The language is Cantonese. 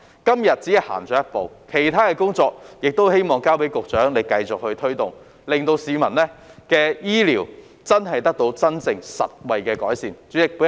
今日只是走了一步，希望局長繼續推動其他工作，令市民的醫療服務真的有實際改善。